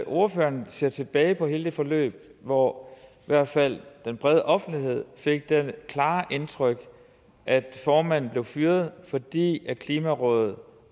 ordføreren ser tilbage på hele det forløb hvor i hvert fald hele den brede offentlighed fik det klare indtryk at formanden blev fyret fordi klimarådet